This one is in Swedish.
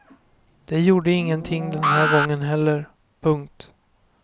Det gjorde ingenting den här gången heller. punkt